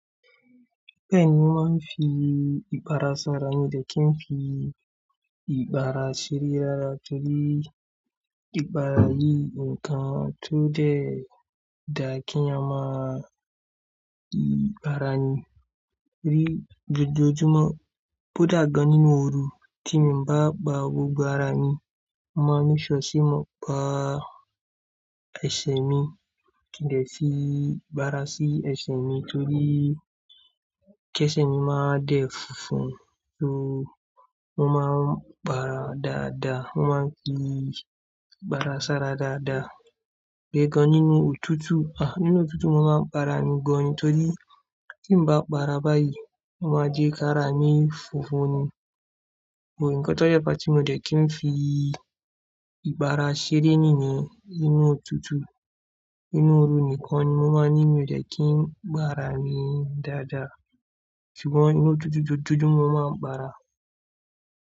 Bẹ́ẹ̀ni, mo máa ń fi ìpara ṣara mi o dẹ́ kí n fi ìgbara ṣeré rárá torí ìgbara yìí nǹkan tó jẹ́ ó dá kí èèyàn máa para ní, ni joojoojúmọ́. Kò dà gan nínú ooru tí mo bá pa gbogbo ara mi, mo máa make sure se mo pa ẹsẹ̀ mi kí n de fi ìpara sí ẹsẹ̀ mi torí kí ẹsẹ̀ mi máa dẹ́ fúnfún, ó, mo máa ń pàrà dáadáa, mo máa ń fi ìpara ṣara dáadáa. Ìyẹn gan nínú òtútù, à nínú òtútù mo máa ń parà mi gan ni torí tí n bá pàrà báyìí, ó máa jẹ́ ká rà mi fùnfún ni. Oòrùn, ǹkan tó dè fà tí mo dẹ̀ kí n fi ìpara ṣeré níyẹn nínú òtútù. Nínú ooru nìkan ni mo máa ní mi ò dẹ̀ kí n pàrà mi dáadáa. Ṣùgbọ́n nínú òtútù joojoojúmọ́ mo máa ń parà.